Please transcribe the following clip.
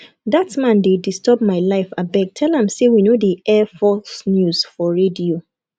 dat man dey disturb my life abeg tell am say we no dey air false news for radio